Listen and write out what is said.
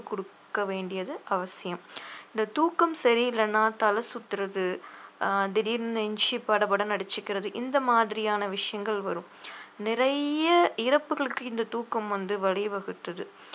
குடுக்க வேண்டியது அவசியம் இந்த தூக்கம் சரியில்லைன்னா தலை சுத்துறது ஆஹ் திடீர்ன்னு நெஞ்சு படபடன்னு அடிச்சிக்கிறது இந்த மாதிரியான விஷயங்கள் வரும் நிறைய இறப்புகளுக்கு இந்த தூக்கம் வந்து வழி வகுத்தது